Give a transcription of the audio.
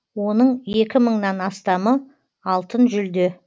оның екі мыңнан астамы алтын жүлде